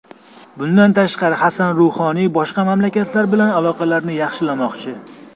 Bundan tashqari, Hasan Ruhoniy boshqa mamlakatlar bilan aloqalarni yaxshilamoqchi.